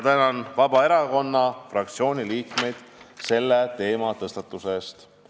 Tänan ka Vabaerakonna fraktsiooni liikmeid selle teema tõstatuse eest!